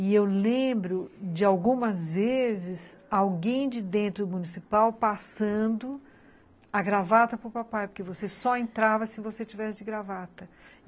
E eu lembro de algumas vezes alguém de dentro do municipal passando a gravata para o papai, porque você só entrava se você tivesse de gravata.